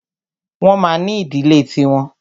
Wọ́n ma ní ìdílé ti wọn.